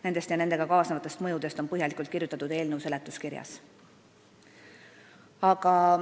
Nendest ja nendega kaasnevatest mõjudest on põhjalikult kirjutatud eelnõu seletuskirjas.